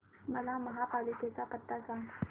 मला महापालिकेचा पत्ता सांग